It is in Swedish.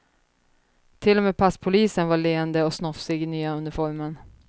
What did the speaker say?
Till och med passpolisen var leende och snofsig i nya uniformen.